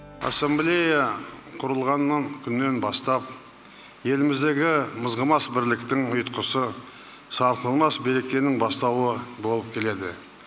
ассамблея құрылғаннан күннен бастап еліміздегі мызғымас бірліктің ұйтқысы сарқылмас берекенің бастауы болып келеді